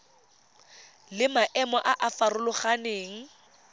le maemo a a farologaneng